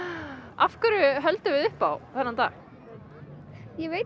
af hverju höldum við upp á þennan dag ég veit